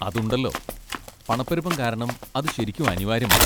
അതുണ്ടല്ലോ, പണപ്പെരുപ്പം കാരണം അത് ശരിക്കും അനിവാര്യമാണ്.